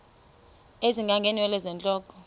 ezinga ngeenwele zentloko